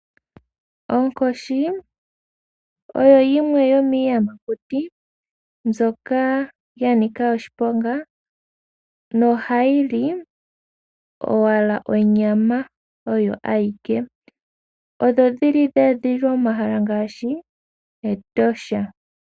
Onkoshi oyo yimwe yomiiyamakuti mbyoka ya nika oshiponga nohayi li owala onyama oyo awike. Odhi li dhe edhililwa momahala ngaashi Etosha.